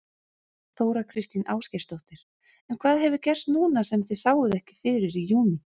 Þóra Kristín Ásgeirsdóttir: En hvað hefur gerst núna sem þið sáuð ekki fyrir í júní?